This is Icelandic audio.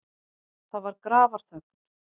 Það var grafarþögn.